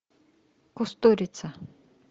кустурица